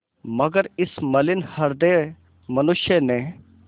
मगर इस मलिन हृदय मनुष्य ने